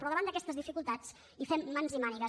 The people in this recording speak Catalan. però davant d’aquestes dificultats hi fem mans i mànigues